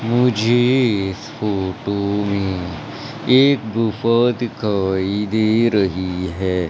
मुझे इस फोटो में एक गुफा दिखाई दे रही है।